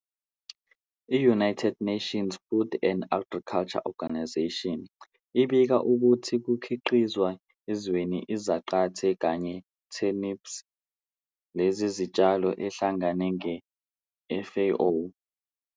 I-United Nations Food and Agriculture Organization, FAO, ibika ukuthi ukukhiqizwa ezweni izaqathe kanye turnips, lezi zitshalo ehlangana nge FAO,